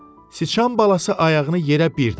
Sıçan balası ayağını yerə bir də vurdu.